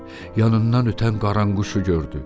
Yanından ötən qaranquşu gördü.